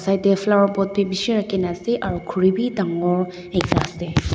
side te flower pot bhi bisi rakhi kina ase aru khori bhi dagur ekta ase.